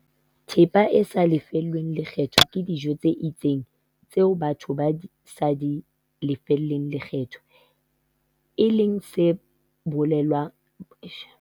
Thepa e sa lefellweng lekgetho ke dijo tse itseng tseo batho ba sa di lefelleng lekgetho, e leng se bolelang hore di rekiswa ka theko e tlase.